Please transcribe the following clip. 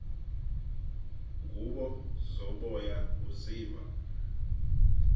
ngubo zoboya uziva